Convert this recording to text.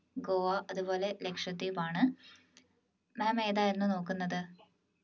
ഗോവ അതുപോലെ ലക്ഷദ്വീപാണ് ma'am ഏതായിരുന്നു നോക്കുന്നത്